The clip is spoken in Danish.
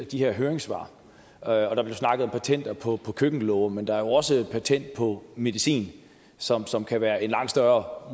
de her høringssvar og der blev snakket om patenter på køkkenlåger men der er jo også patent på medicin som som kan være i en langt større